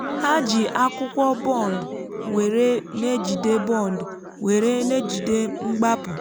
há ji akwụkwọ bund wèré n'ejide bund wèré n'ejide mgbápu